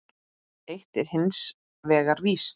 Eitt er hins vegar víst.